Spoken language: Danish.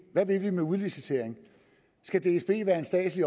hvad vil vi med udlicitering skal dsb være en statslig